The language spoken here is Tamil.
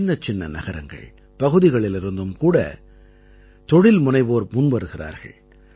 சின்னச்சின்ன நகரங்கள் பகுதிகளிலிருந்தும் கூட தொழில்முனைவோர் முன்வருகிறார்கள்